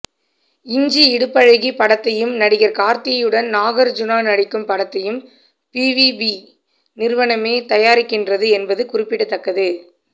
இஞ்சி இடுப்பழகி படத்தையும் நடிகர் கார்த்தியுடன் நாகார்ஜூனா நடிக்கும் படத்தையும் பிவிபி நிறுவனமே தயாரிக்கின்றது என்பது குறிப்பிடத்தக்கது